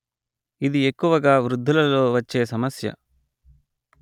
ఇది ఎక్కువగా వృద్ధులలో వచ్చే సమస్య